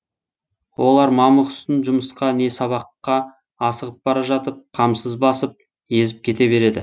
олар мамық үстін жұмысқа не сабаққа асығып бара жатып қамсыз басып езіп кете береді